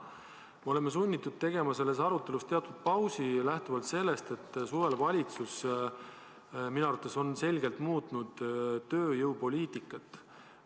Me oleme sunnitud tegema selles arutelus teatud pausi, kuna suvel valitsus minu arvates selgelt muutis tööjõupoliitikat.